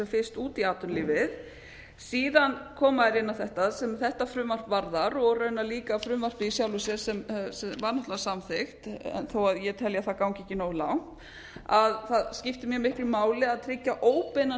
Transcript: fyrst út í atvinnulífið síðan koma þeir inn á þetta sem þetta frumvarp varðar og raunar líka frumvarpið í sjálfu sér sem var náttúrlega samþykkt þó ég telji að það gangi ekki nógu langt að það skipti mjög miklu máli að tryggja óbeinan stuðning við